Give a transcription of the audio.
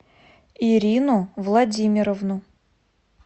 ирину владимировну